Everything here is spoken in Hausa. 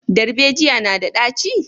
Darbejiya na da ɗaci?